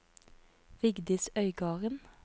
Vigdis Øygarden